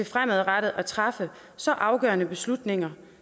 fremadrettet at træffe så afgørende beslutninger